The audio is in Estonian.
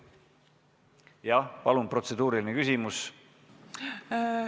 Jah, palun, protseduuriline küsimus!